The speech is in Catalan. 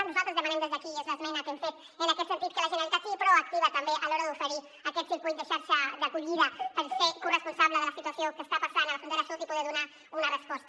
nosaltres demanem des d’aquí i és l’esmena que hem fet en aquest sentit que la generalitat sigui proactiva també a l’hora d’oferir aquest circuit de xarxa d’acollida per ser corresponsable de la situació que està passant a la frontera sud i poder donar hi una resposta